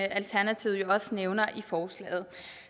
alternativet jo også nævner i forslaget